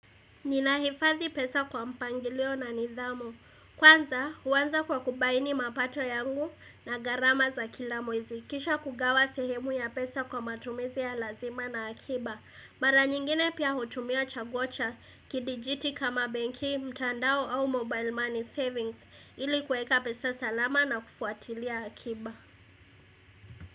Ninahifadhi pesa kwa mpangilio na nidhamu. Kwanza huanza kwa kubaini mapato yangu na gharama za kila mwezi kisha kugawa sehemu ya pesa kwa matumizi ya lazima na akiba. Mara nyingine pia hutumia chaguo cha kidijiti kama benki, mtandao au mobile money savings ili kuweka pesa salama na kufuatilia akiba.